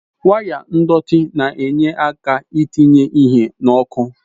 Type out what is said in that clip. Waya ndọtị na-enye aka I tinye ihe n'oku